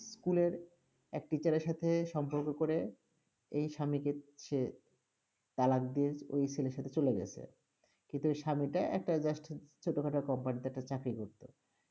school -এর এক teacher -এর সাথে সম্পর্ক করে, এই স্বামীকে ছেড়ে, তালাক দিয়ে ওই ছেলের সাথে চলে গেছে, কিন্তু ওই স্বামীটা একটা just ছোটখাটো company -তে একটা চাকরি করতো।